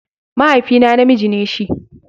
Mahaifina namiji ne shi.